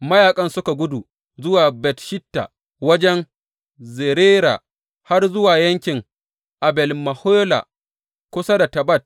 Mayaƙan suka gudu zuwa Bet Shitta wajen Zerera har zuwa yankin Abel Mehola kusa da Tabbat.